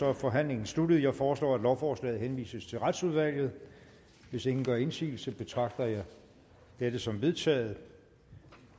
er forhandlingen sluttet jeg foreslår at lovforslaget henvises til retsudvalget hvis ingen gør indsigelse betragter jeg det som vedtaget